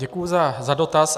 Děkuji za dotaz.